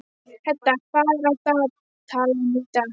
Hedda, hvað er í dagatalinu í dag?